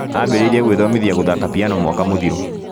Ambĩrĩirie gwĩthomithia gũthaka piano mwaka mũthiru